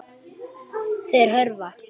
Þeir hörfa.